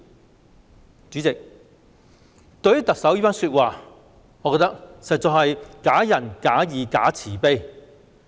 代理主席，對於特首這番說話，我覺得實在是假仁假義、假慈悲。